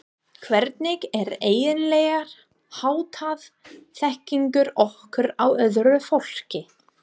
Hvernig er eiginlega háttað þekkingu okkar á öðru fólki?